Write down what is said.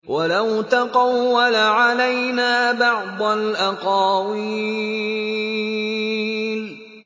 وَلَوْ تَقَوَّلَ عَلَيْنَا بَعْضَ الْأَقَاوِيلِ